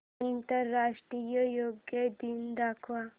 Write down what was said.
आंतरराष्ट्रीय योग दिन दाखव